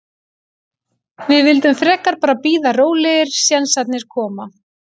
Við vildum frekar bara bíða rólegir, sénsarnir koma.